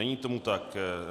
Není tomu tak.